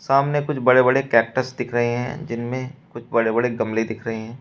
सामने कुछ बड़े बड़े कैक्टस दिख रहे हैं जिनमें कुछ बड़े बड़े गमले दिख रहे हैं।